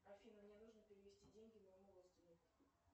афина мне нужно перевести деньги моему родственнику